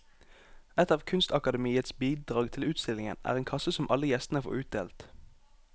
Et av kunstakademiets bidrag til utstillingen er en kasse som alle gjestene får utdelt.